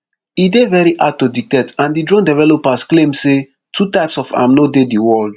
e dey very hard to detect and di drone developers claim say two types of am no dey di world